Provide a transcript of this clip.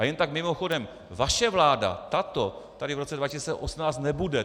A jen tak mimochodem, vaše vláda, tato, tady v roce 2018 nebude.